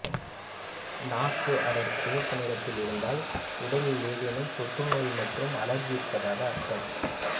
நாக்கு அடர் சிவப்பு நிறத்தில் இருந்தால் உடலில் ஏதேனும் தொற்றுநோய் மற்றும் அலர்ஜி இருப்பதாக அர்த்தம்